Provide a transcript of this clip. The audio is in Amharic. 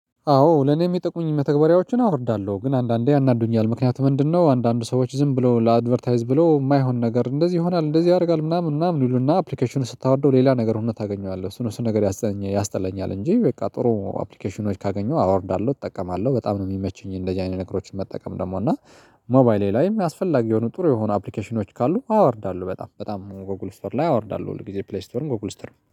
አዎ ለኔ ምጠቅሙኝን መተግበሪያዎችን አወርዳለሁ። ግን አንዳንዴ ያናድዱኛል ምክንያቱም ምንድነው አንዳንድ ሰዎች ዝም ብሎ ለአድቨርታይዝ ብሎ የማይሆን ነገር እንደዚህ ይሆናል እንደዚህ ያደርጋል ምናምን ምናምን ልሉና አፕሊኬሽኑን ስታወርደው ሌላ ነገር ሁነት ታገኘዋለህ እሱን እሱን ነገር ያስጠላኛል ያስጠላኛል እንጂ በቃ ጥሩ አፕሊኬሽኖች ካገኘሁ አወርዳለሁ እጠቀማለሁ በጣም ነው የሚመችኝ እንደዚህ አይነት ነገሮችን መጠቀም ደግሞ እና ሞባይሌ ላይም አስፈላጊ የሆኑ ጥሩ የሆኑ አፕሊኬሽኖች ካሉ አወርዳሉ በጣም በጣም ጎግልስተር ላይ አወርዳለሁ ሁል ጊዜ ፕሌይስተርም ጎግል ስትርም።